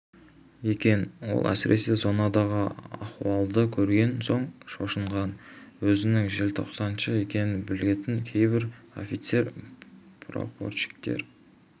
екен ол әсіресе зонадағы ахуалды көрген соң шошынған өзінің желтоқсаншы екенін білетін кейбір офицер прапорщиктер